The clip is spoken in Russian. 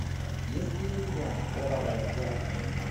есть ли у тебя кровавая вдова